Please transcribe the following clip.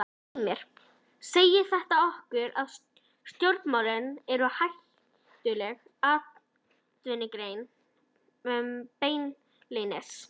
Myndirnar eru af sjó, gresju og varnargarði.